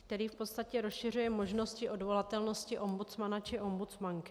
- který v podstatě rozšiřuje možnosti odvolatelnosti ombudsmana či ombudsmanky.